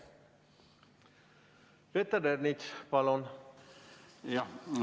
Peeter Ernits, palun!